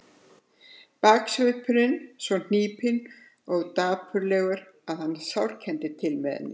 Baksvipurinn svo hnípinn og dapurlegur að hann sárkenndi til með henni.